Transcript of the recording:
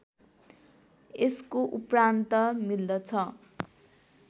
यसको उप्रान्त मिल्दछ